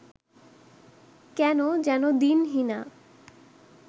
কেন, যেন দীনহীনা